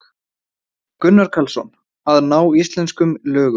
Gunnar Karlsson: Að ná íslenskum lögum.